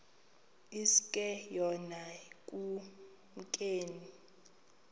iske yona ekumkeni